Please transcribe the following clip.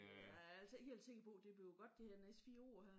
Jeg er altså ikke helt sikker på det bliver godt de her næste 4 år her